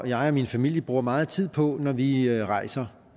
jeg og min familie bruger meget tid på når vi rejser